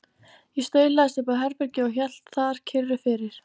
Ég staulaðist upp á herbergi og hélt þar kyrru fyrir.